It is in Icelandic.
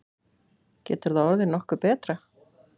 Getur það orðið nokkuð betra?